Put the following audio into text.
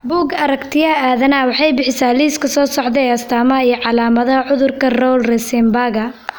Bugga Aaragtiyaha Aadanaha waxay bixisaa liiska soo socda ee astamaha iyo calaamadaha cudurka Rowle Rosenbaga.